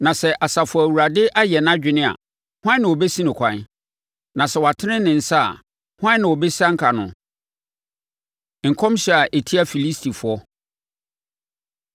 Na sɛ Asafo Awurade ayɛ nʼadwene a hwan na ɔbɛsi no kwan? Na sɛ watene ne nsa, hwan na ɔbɛsianka no? Nkɔmhyɛ A Ɛtia Filistifoɔ